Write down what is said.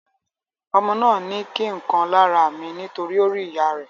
Ọmọ náà ni kí nkan lára mi nitori o ri ìyá rẹ.